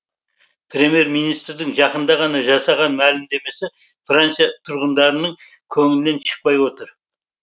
премьер министрдің жақында ғана жасаған мәлімдемесі франция тұрғындарының көңілінен шықпай отыр